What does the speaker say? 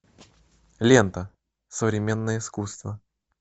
лента современное искусство